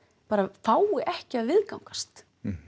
fái ekki að viðgangast